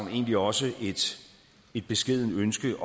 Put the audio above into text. jo egentlig også et beskedent ønske